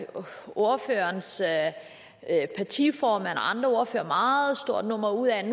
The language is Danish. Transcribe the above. ordførerens partiformand og andre ordførere meget stort nummer ud af at